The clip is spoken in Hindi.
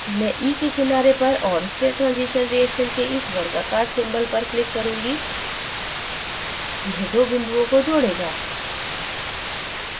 मैं e के किनारे पर और state transition reaction के इस वर्गाकार symbol पर click करूंगी यह दो बिंदुओं को जोड़ेगा